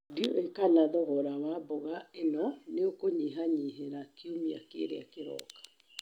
Ndiũĩ kana thogora wa mboga ĩno nĩ ũkũnyihanyihĩra kiumia kĩrĩa kĩroka.